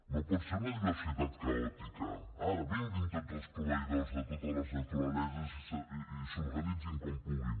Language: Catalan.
no pot ser una diversitat caòtica ara vinguin tots els proveïdors de totes les naturaleses i s’organitzin com puguin